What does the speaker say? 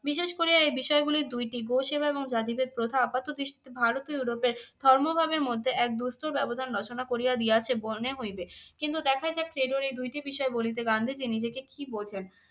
বিশেষ করে এই বিষয়গুলির দুইটি, গো-সেবা এবং জাতিভেদ প্রথা আপাত দৃষ্টিতে ভারতী ও ইউরোপের ধর্মভাবের মধ্যে এক দুস্তর ব্যবধান রচনা করিয়া দিয়াছে মনে হইবে কিন্তু দেখাই যাক ক্রেডোর এই দুইটি বিষয় বলিতে গান্ধীজী নিজেকে কি বোঝেন।